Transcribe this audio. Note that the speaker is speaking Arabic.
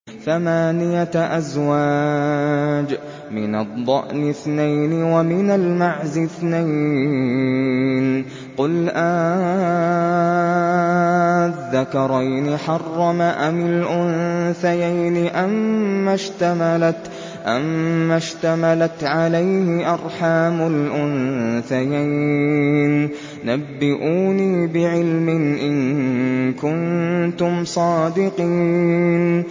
ثَمَانِيَةَ أَزْوَاجٍ ۖ مِّنَ الضَّأْنِ اثْنَيْنِ وَمِنَ الْمَعْزِ اثْنَيْنِ ۗ قُلْ آلذَّكَرَيْنِ حَرَّمَ أَمِ الْأُنثَيَيْنِ أَمَّا اشْتَمَلَتْ عَلَيْهِ أَرْحَامُ الْأُنثَيَيْنِ ۖ نَبِّئُونِي بِعِلْمٍ إِن كُنتُمْ صَادِقِينَ